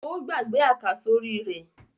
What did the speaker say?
Ó gbàgbé àkàsórí rẹ̀.